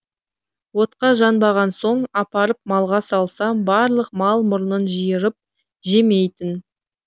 отқа жанбаған соң апарып малға салсам барлық мал мұрнын жиырып жемейтін